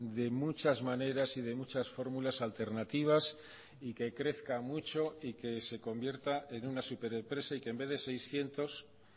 de muchas maneras y de muchas fórmulas alternativas y que crezca mucho y que se convierta en una superempresa y que en vez de seiscientos